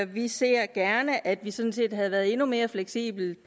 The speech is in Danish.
vi ser gerne at vi sådan set havde været endnu mere fleksible i